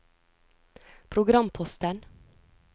programposten